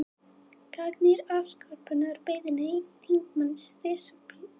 Gagnrýnir afsökunarbeiðni þingmanns repúblikana